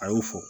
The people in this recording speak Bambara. A y'o fɔ